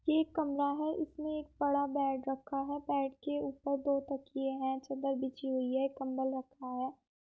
ये एक कमरा है इसमे एक बड़ा बेड रखा है बेड के ऊपर दो तकये है चद्दर बिछी हुई है एक कम्मल रखा है।